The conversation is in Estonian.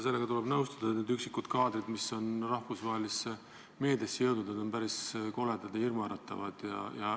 Sellega tuleb nõustuda, et need üksikud kaadrid, mis on rahvusvahelisse meediasse jõudnud, on päris koledad ja hirmuäratavad.